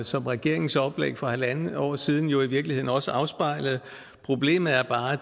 som regeringens oplæg for halvandet år siden jo i virkeligheden også afspejlede problemet er bare